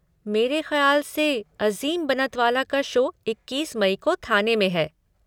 मेरे ख्याल से अज़ीम बनतवाला का शो इक्कीस मई को थाने में है।